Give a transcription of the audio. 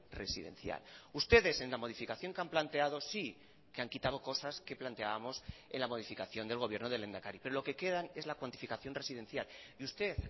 residencial ustedes en la modificación que han planteado sí que han quitado cosas que planteábamos en la modificación del gobierno del lehendakari pero lo que quedan es la cuantificación residencial y usted